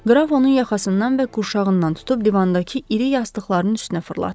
Qraf onun yaxasından və qurşağından tutub divandakı iri yastıqların üstünə fırlatdı.